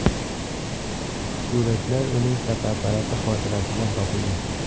Suratlar uning fotoapparati xotirasidan topildi.